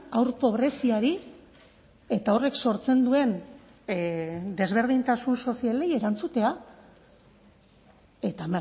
haur pobreziari eta horrek sortzen duen desberdintasun sozialei erantzutea eta